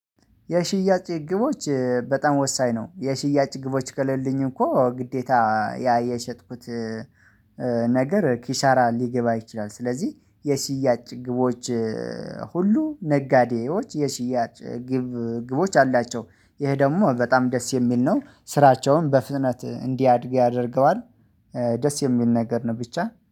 የሽያጭ ግቦች በጣም ወሳኝ ነው። የሽያጭ ግቦች ከሌሉኝ እኮ ግዴታ ያ የሽጥኩት ነገር ኪሳራ ሊገባ ይችላል። ስለዚህ የሽያጭ ግቦች። ሁሉ ነጋዴዎች የሽያጭ ግብ ግቦች አሏቸው። ይሄ ደግሞ በጣም ደስ የሚል ነው ስራቸውን በፍጥነት እንዲያድግ ያደርገዋል። ደስ የሚል ነገር ነው ብቻ